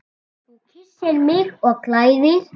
Þú kyssir mig og klæðir.